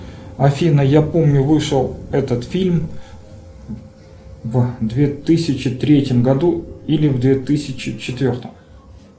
афина я помню вышел этот фильм в две тысячи третьем году или две тысячи четвертом